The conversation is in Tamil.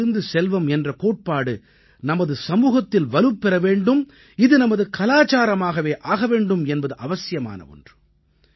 கழிவிலிருந்து செல்வம் என்ற கோட்பாடு நமது சமூகத்தில் வலுப்பெற வேண்டும் இது நமது கலாச்சாரமாகவே ஆக வேண்டும் என்பது அவசியமான ஒன்று